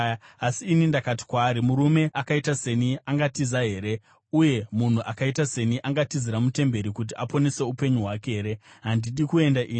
Asi ini ndakati kwaari, “Murume akaita seni angatiza here? Uye munhu akaita seni angatizira mutemberi kuti aponese upenyu hwake here? Handidi kuenda ini!”